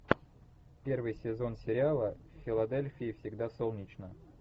первый сезон сериала в филадельфии всегда солнечно